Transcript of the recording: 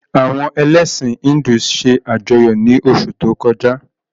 Àwọn elẹ̀sin Híndù se ajọyọ ni osu to koja.